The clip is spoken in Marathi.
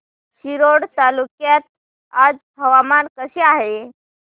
रिसोड तालुक्यात आज हवामान कसे आहे